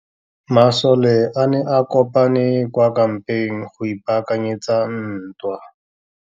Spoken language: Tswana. Masole a ne a kopane kwa kampeng go ipaakanyetsa ntwa.